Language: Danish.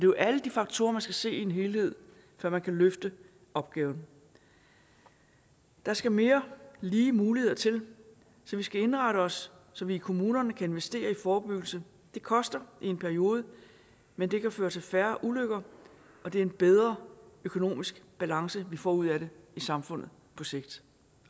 jo alle de faktorer man skal se i en helhed før man kan løfte opgaven der skal mere lige muligheder til så vi skal indrette os så vi i kommunerne kan investere i forebyggelse det koster i en periode men det kan føre til færre ulykker og det er en bedre økonomisk balance vi får ud af det i samfundet på sigt